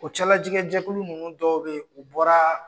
O cɛlajigɛjɛkulu ninnu dɔw bɛ yen u bɔra.